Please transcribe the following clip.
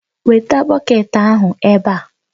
Weta bọket ahụ ebe a!